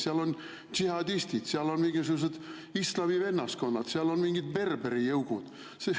Seal on džihadistid, seal on mingisugused islami vennaskonnad, seal on mingid berberijõugud.